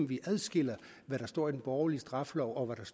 vi adskiller det der står i den borgerlige straffelov og